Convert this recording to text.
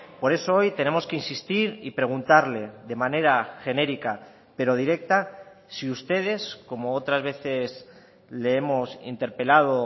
por eso hoy tenemos que insistir y preguntarle de manera genérica pero directa si ustedes como otras veces le hemos interpelado